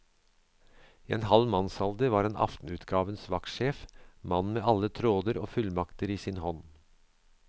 I en halv mannsalder var han aftenutgavens vaktsjef, mannen med alle tråder og fullmakter i sin hånd.